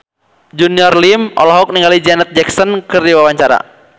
Junior Liem olohok ningali Janet Jackson keur diwawancara